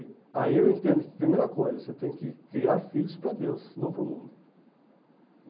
E aí eu entendo que, primeira coisa, você tem que criar filhos pra Deus, não pro mundo.